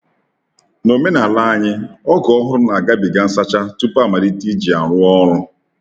N’omenala anyị, ọgụ ọhụrụ n'agabiga nsacha tupu amalite iji ya rụọ ọrụ.